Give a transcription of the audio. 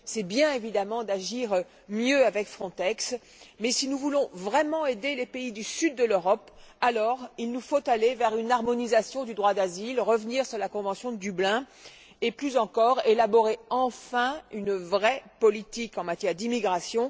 C'est bien, évidemment, d'agir mieux avec Frontex, mais si nous voulons vraiment aider les pays du Sud de l'Europe, alors il nous faut aller vers une harmonisation du droit d'asile, revenir sur la convention de Dublin et, plus encore, élaborer enfin une vraie politique en matière d'immigration.